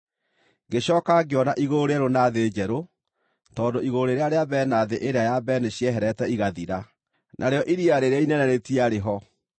Ngĩcooka ngĩona igũrũ rĩerũ na thĩ njerũ, tondũ igũrũ rĩrĩa rĩa mbere na thĩ ĩrĩa ya mbere nĩcieherete igathira, narĩo iria rĩrĩa inene rĩtiarĩ ho.